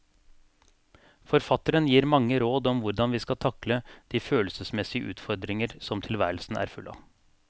Forfatteren gir mange råd om hvordan vi skal takle de følelsesmessige utfordringer som tilværelsen er full av.